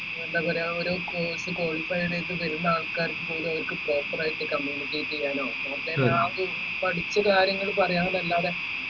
എന്താ പറയുഅ ആ ഒരു course qualified ആയിട്ട് വരുന്ന ആൾക്കാർക്കുപോലും proper ആയിട്ട് communicte ചെയ്യാനോ പഠിച്ച കാര്യങ്ങൾ പറയാം ന്ന അല്ലാതെ